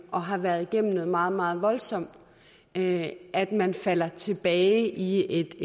og har været igennem noget meget meget voldsomt at for at man falder tilbage i